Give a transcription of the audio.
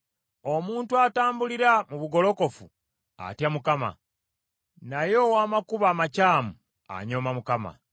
Omuntu atambulira mu bugolokofu atya Mukama , naye ow’amakubo amakyamu anyooma Mukama .